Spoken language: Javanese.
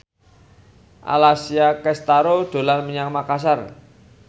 Alessia Cestaro dolan menyang Makasar